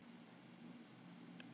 Og ekki ljóskuna heldur.